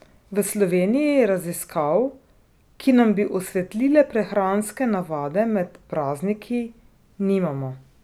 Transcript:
V Sloveniji raziskav, ki nam bi osvetlile prehranske navade med prazniki, nimamo.